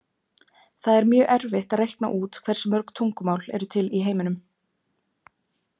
Það er mjög erfitt að reikna út hversu mörg tungumál eru til í heiminum.